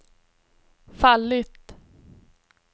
fallit